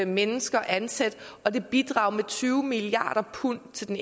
mennesker ansat og det bidrager med tyve milliarder pund til den